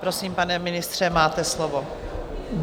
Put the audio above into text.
Prosím, pane ministře, máte slovo.